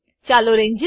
ચાલો રેન્જેસ